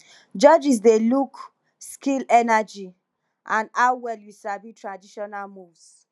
judges dey look skill energy and how well you sabi traditional moves